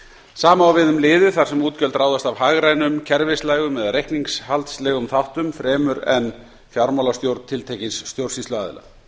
sama á við um liði þar sem útgjöld ráðast af hagrænum kerfislægum eða reikningshaldslegum þáttum fremur en fjármálastjórn tiltekins stjórnsýsluaðila